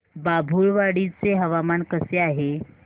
बाभुळवाडी चे हवामान कसे आहे